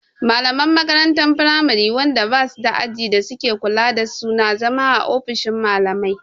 Malaman makarantar firamari wanda ba suda ajin da suke kula da su na zama a ofishin malamai